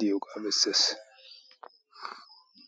diyoogaa bessees